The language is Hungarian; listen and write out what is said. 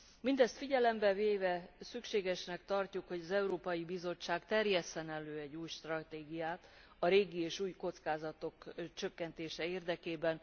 Mindezt figyelembe véve, szükségesnek tartjuk, hogy az Európai Bizottság terjesszen elő egy új stratégiát, a régi és új kockázatok csökkentése érdekében.